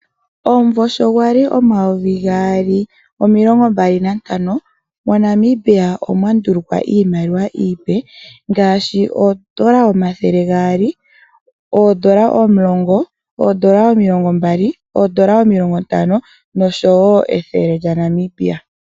Omumvo sho gwa li omayovi gaali nomilongombali nantano moNamibia omwa ndulukwa iimaliwa iipe ngaashi oodola omathele gaali, oodola omulongo, oodola omilongombali, oodola omilongontano noshowo ethele lyaNamibia.